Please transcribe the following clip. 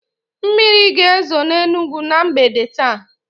Mmiri ga-ezo n'Enugwu na mgbede taa